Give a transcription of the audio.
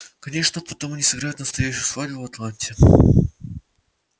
конечно потом они сыграют настоящую свадьбу в атланте